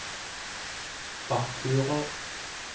faktura